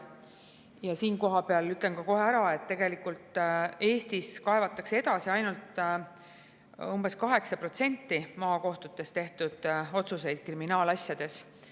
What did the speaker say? Ja siinkohal ütlen kohe ära, et tegelikult Eestis kaevatakse edasi ainult umbes 8% maakohtutes kriminaalasjades tehtud otsustest.